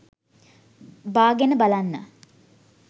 බාගෙන බලන්න